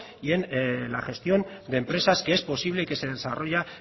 y en la gestión de empresas que es posible que se desarrolla